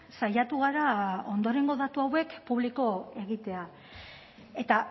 saiatu gara ondorengo datu hauek publiko egitea eta